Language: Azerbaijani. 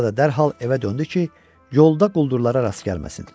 Sonra da dərhal evə döndü ki, yolda quldurlara rast gəlməsin.